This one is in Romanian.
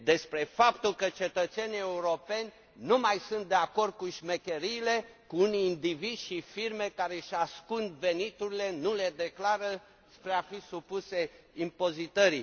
Despre faptul că cetățenii europeni nu mai sunt de acord cu șmecheriile, cu unii indivizi și firme care își ascund veniturile și nu le declară spre a fi supuse impozitării.